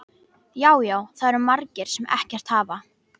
Já, já, það eru margir sem ekkert hafa.